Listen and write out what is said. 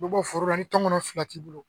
Dɔ bɔ foro la ni tɔnkɔnɔ fila t'i bolo